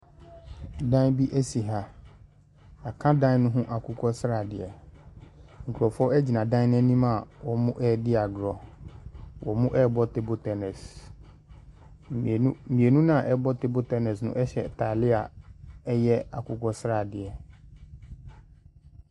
Ɛdan bi esi ha. Yaka dan ne ho akokɔsradeɛ. Nkorɔfoɔ egyina dan n'enim a ɔmo edi agorɔ. Ɔmo ɛɛbɔ teebol tɛnɛs. Mienu naa ɛbɔ teebol tɛnɛs no ɛhyɛ ntaadeɛ a ɛyɛ akokɔsradeɛ.